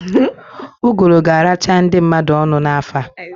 Uguru ga-aracha ndị mmadụ ọnụ n'afọ a.